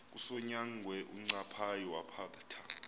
kukasonyangwe uncaphayi wawaphatha